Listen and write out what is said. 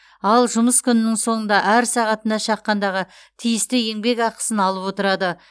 ал жұмыс күнінің соңында әр сағатына шаққандағы тиісті еңбекақысын алып отырады